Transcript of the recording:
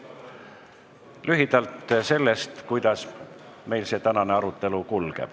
Lühidalt sellest, kuidas meil see tänane arutelu kulgeb.